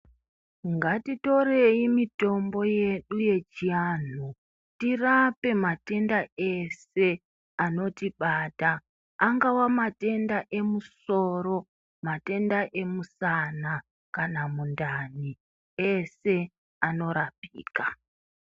Ngatitorei mitombo yedu yechianhu tirape matenda ese anotibata angawa matenda emusoro matenda emusana kana mundani ese anorapika.